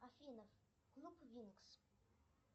афина клуб винкс